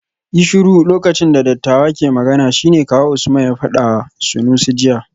Yi shiru lokacin da dattawa ke magana shine kawu Usman ya fadawa Sanusi jiya